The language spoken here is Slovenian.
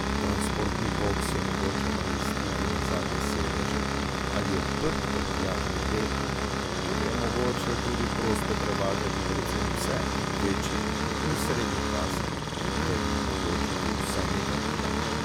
Transportni boks je mogoče namestiti na zadnje sedeže ali odprt prtljažni del, kjer je mogoče tudi prosto prevažati predvsem pse večjih in srednjih pasem ter jim omogočiti vsaj nekaj gibanja.